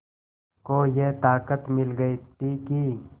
को ये ताक़त मिल गई थी कि